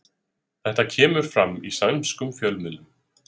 Þetta kemur fram í sænskum fjölmiðlum